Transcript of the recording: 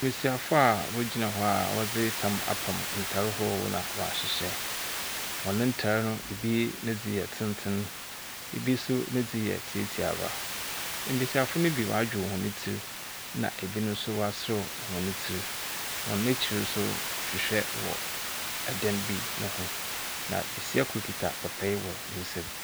Mbesiafo a wogyina hɔ a wɔdzi tam apam ntar ahorow na wa hyehyɛ. Wɔ ne ntar no ebi ne dzi yɛ tenten, ebi so ni dzi yɛ tietiaba. Mbesiafo no bi wadwiw wɔn tir ena ebi no so wasrɛw wɔn tir. Wɔn akyir so ahyehyɛ wɔ edan bi ne ho na besia kor kita papa wɔ nsam.